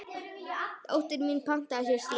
Dóttir mín pantaði sér slím.